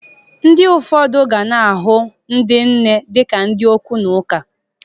Ndị ụfọdụ gana ahụ ndị nne dị ka ndị okwu na ụka.